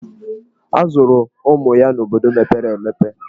A zụrụ ụmụ ya n'obodo mepere emepe.